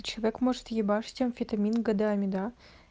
человек может ебашить амфетамин годами да